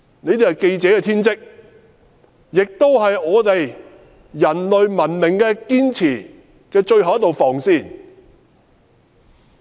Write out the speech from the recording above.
這是記者的天職，也是我們守護人類文明的最後一道防線。